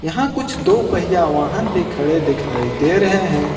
यहां कुछ दो पहिया वाहन भी खड़े दिखाई दे रहे हैं।